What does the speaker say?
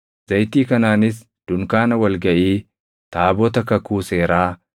Zayitii kanaanis dunkaana wal gaʼii, taabota kakuu seeraa,